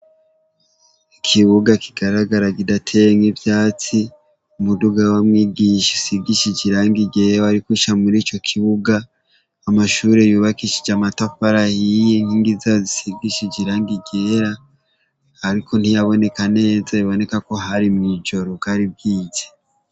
Ikibuga kigaragara kidateyemwo ivyatsi, umuduga wa mwigisha usize irangi ryera wariko uca murico kibuga, amashure yubakishijwe amatafari ahiye inkingi zayo zisigishije irangi ryera, ariko ntiyaboneka neza biboneko ko hari mw'ijoro bwari bwije.